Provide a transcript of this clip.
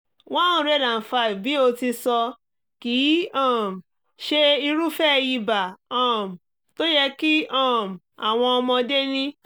one hundred five bí o ti sọ kì í um ṣe irúfẹ́ ibà um tó yẹ kí um àwọn ọmọdé ní